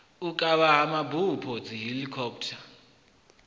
u kavha ha mabupo dzihelikhophutha